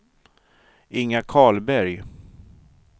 Inga Karlberg